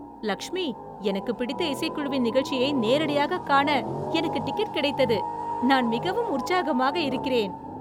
லக்ஷ்மி, எனக்குப் பிடித்த இசைக்குழுவின் நிகழ்ச்சியை நேரடியாக காண எனக்கு டிக்கெட் கிடைத்தது, நான் மிகவும் உற்சாகமாக இருக்கிறேன்!